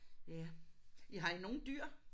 Ja. Ja har I nogle dyr?